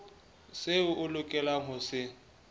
seo o lokelang ho se